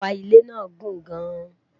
ọpa ilé nà gùn gaan